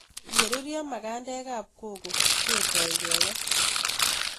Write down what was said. Ye rurio magandek ab koko ketoi kekesis